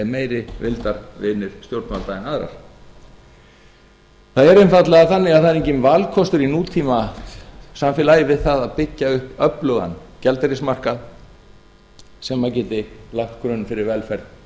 meiri vildarvinir stjórnvalda en aðrar það er reyndar þannig að það er enginn valkostur í nútímasamfélagi við það að byggja upp öflugan gjaldeyrismarkað sem geti lagt grunn fyrir velferð